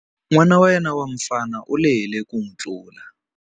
N'wana wa yena wa mufana u lehile ku n'wi tlula.